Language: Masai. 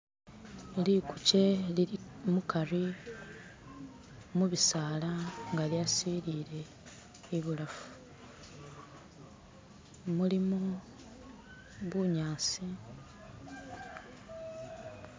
likukye lilimukari mubisala nga lyasilile ibulafu, mulimo bunyasi